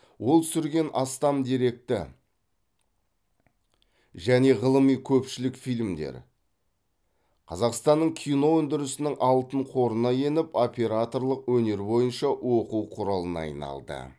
ол түсірген астам деректі және ғылыми көпшілік фильмдер қазақстанның кино өндірісінің алтын қорына еніп операторлық өнер бойынша оқу құралына айналды